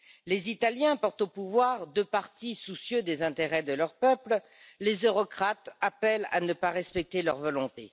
Les Italiens portent au pouvoir deux partis soucieux des intérêts de leur peuple, les eurocrates appellent à ne pas respecter leur volonté.